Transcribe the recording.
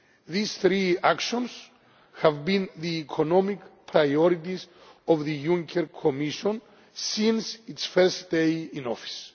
These three actions have been the economic priorities of the Juncker Commission since its first day in office.